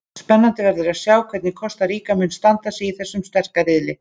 Spennandi verður að sjá hvernig Kosta Ríka mun standa sig í þessum sterka riðli.